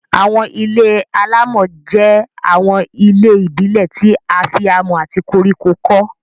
Àwọn ilé-alámọ̀ jẹ́ àwọn ilé ìbílẹ̀ tí a fi amọ̀ àti koríko kọ́